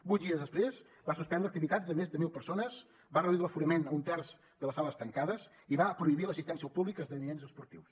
vuit dies després va suspendre activitats de més de mil persones va reduir l’aforament a un terç de les sales tancades i va prohibir l’assistència al públic a esdeveniments esportius